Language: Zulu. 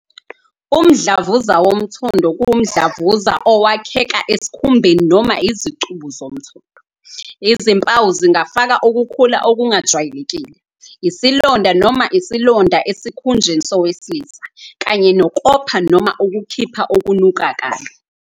Umdlavuza womthondo kuwumdlavuza owakheka esikhumbeni noma izicubu zomthondo. Izimpawu zingafaka ukukhula okungajwayelekile, isilonda noma isilonda esikhunjeni sowesilisa, kanye nokopha noma ukukhipha okunuka kabi.